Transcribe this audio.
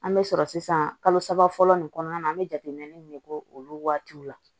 An bɛ sɔrɔ sisan kalo saba fɔlɔ nin kɔnɔna na an bɛ jateminɛ de k'o olu waatiw la